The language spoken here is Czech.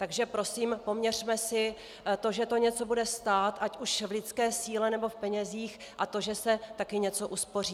Takže prosím poměřme si to, že to něco bude stát, ať už v lidské síle, nebo v penězích, a to, že se taky něco uspoří.